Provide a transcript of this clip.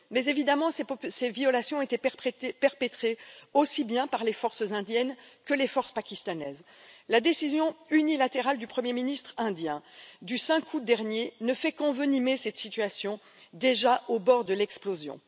Mais évidemment ces violations étaient perpétrées aussi bien par les forces indiennes que par les forces pakistanaises. La décision unilatérale du premier ministre indien du 5 août dernier ne fait qu'envenimer cette situation déjà au bord de l'explosion.